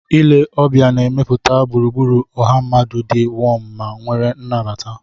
Ile ọbịa na-emepụta gburugburu ọha mmadụ di wom ma nwere anabata.